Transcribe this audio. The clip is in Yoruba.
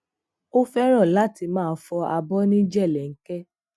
ó féràn láti máa fọ abó ní jelenke